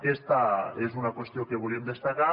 aquesta és una qüestió que volíem destacar